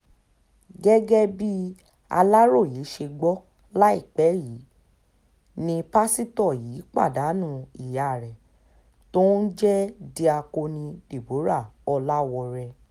gẹ́gẹ́ bí aláròye ṣe gbọ́ láìpẹ́ yìí ni pásítọ̀ yìí pàdánù ìyá ẹ̀ tó ń jẹ́ diakoni deborah oláwórè